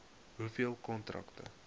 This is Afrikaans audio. hoeveel kontrakte